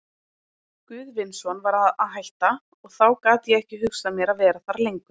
Guðvinsson var að hætta, og þá gat ég ekki hugsað mér að vera þar lengur.